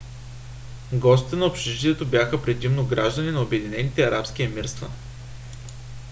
гостите на общежитието бяха предимно граждани на обединените арабски емирства